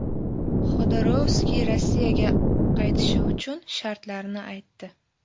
Xodorkovskiy Rossiyaga qaytishi uchun shartlarni aytdi.